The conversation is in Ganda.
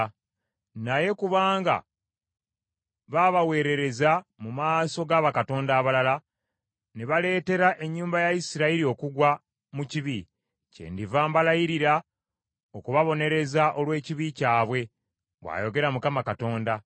Naye kubanga baabaweerereza mu maaso ga bakatonda abalala, ne baleetera ennyumba ya Isirayiri okugwa mu kibi, kyendiva mbalayirira okubabonereza olw’ekibi kyabwe, bw’ayogera Mukama Katonda.